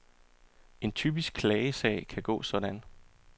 En typisk klagesag kan gå sådan.